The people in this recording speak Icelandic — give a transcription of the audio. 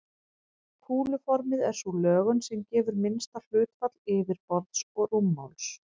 Kúluformið er sú lögun sem gefur minnsta hlutfall yfirborðs og rúmmáls.